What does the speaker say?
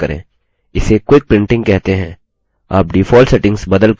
इसे quick printing कहते हैं